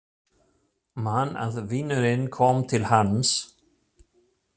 Man að vinurinn kom til hans.